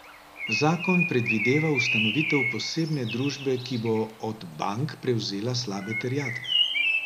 Zakon predvideva ustanovitev posebne družbe, ki bo od bank prevzela slabe terjatve.